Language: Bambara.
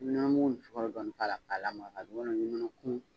Nɔnɔ mugu ni sukaro dɔɔni k'a la ka lamaga nɔnɔ kumu